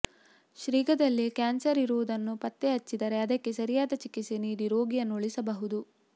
ಶೀಘ್ರದಲ್ಲೇ ಕ್ಯಾನ್ಸರ್ ಇರುವುದನ್ನು ಪತ್ತೆ ಹಚ್ಚಿದರೆ ಅದಕ್ಕೆ ಸರಿಯಾದ ಚಿಕಿತ್ಸೆ ನೀಡಿ ರೋಗಿಯನ್ನು ಉಳಿಸಬಹುದು